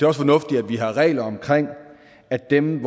også fornuftigt at vi har regler om at dem